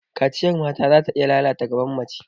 Kaciyar mata zata iya lalata gaban mace.